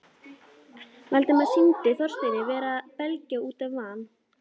Valdimari sýndist Þorsteinn vera að belgjast út af van